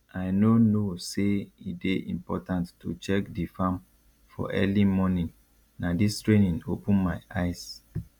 i no know say e dey important to check di farm for early morning na dis training open my eyes